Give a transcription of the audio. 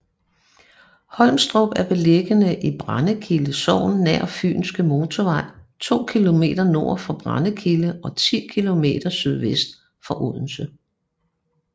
Holmstrup er beliggende i Brændekilde Sogn nær Fynske Motorvej to kilometer nord for Brændekilde og ti kilometer sydvest for Odense